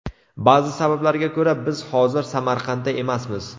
Ba’zi sabablarga ko‘ra biz hozir Samarqandda emasmiz.